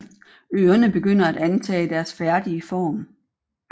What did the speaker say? Ørene begynder at antage deres færdige form